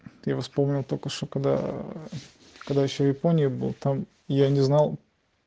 ты вспомнил только что когда когда ещё японии был там я не знал